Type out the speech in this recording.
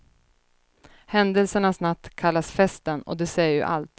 Händelsernas natt kallas festen och det säger ju allt.